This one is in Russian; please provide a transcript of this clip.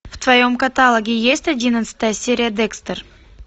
в твоем каталоге есть одиннадцатая серия декстер